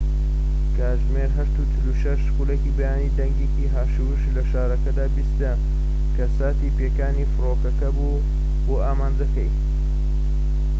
کاتژمێر ٨:٤٦ ی بەیانی، دەنگێکی هاشوهوش لە شارەکەدا بیسترا، کە ساتی پێکانی فڕۆکەکە بوو بۆ ئامانجەکەی